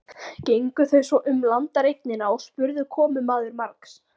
Gengu þau svo um landareignina og spurði komumaður margs.